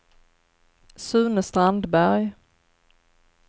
Sune Strandberg